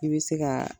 I bɛ se ka